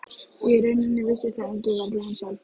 Í rauninni vissi það enginn, varla hún sjálf.